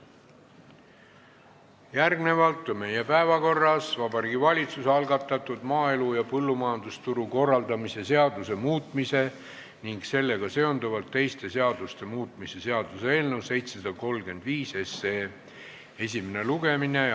Järgmisena on meie päevakorras Vabariigi Valitsuse algatatud maaelu ja põllumajandusturu korraldamise seaduse muutmise ning sellega seonduvalt teiste seaduste muutmise seaduse eelnõu 735 esimene lugemine.